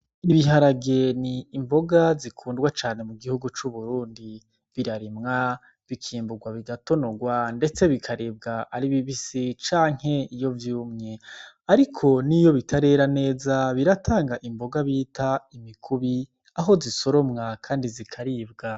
Ibiharage nikiribwa gikunda cane mugihugu c'uburundi, birarimwa ,bikimburwa bigatonorwa ndetse bikaribwa ari bibisi canke iyo vyumye, ariko niyo bitarera neza biratang'imboga bita imikubi aho zisoromwa kandi zikaribwa.